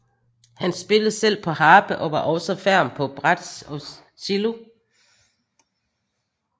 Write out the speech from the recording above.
Han spillede selv på harpe og var også ferm på bratsj og cello